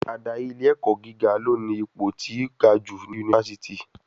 Ádárì ilé ẹ̀kọ́ gíga ló ní ipò tí ga jù ní yunifásítì.